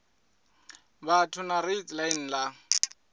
vhathu na kraits line la